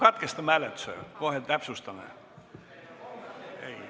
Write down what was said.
Katkestame hääletuse!